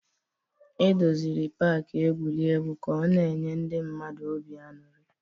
E doziri pak egwuregwu ka ọ na-enye ndị mmadụ obi aṅụrị